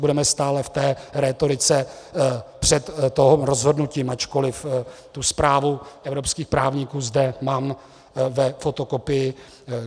Budeme stále v té rétorice před tím rozhodnutím, ačkoliv tu zprávu evropských právníků zde mám ve fotokopii.